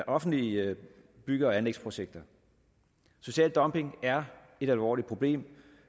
offentlige bygge og anlægsprojekter social dumping er et alvorligt problem